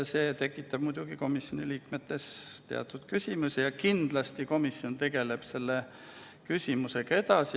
See tekitab muidugi komisjoni liikmetes teatud küsimusi ja kindlasti komisjon tegeleb nimeteemaga edasi.